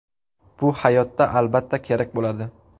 Bu hayotda, albatta, kerak bo‘ladi.